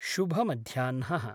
शुभमध्याह्नः